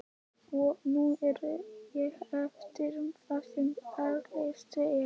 Og nú á ég eftir það sem erfiðast er.